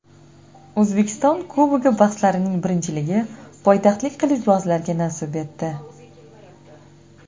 O‘zbekiston Kubogi bahslarining birinchiligi poytaxtlik qilichbozlarga nasib etdi.